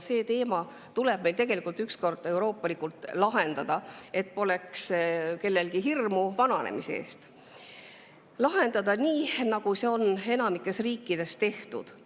See teema tuleb meil ükskord euroopalikult lahendada, et kellelgi poleks hirmu vananemise ees, see tuleb lahendada nii, nagu seda on enamikus riikides tehtud.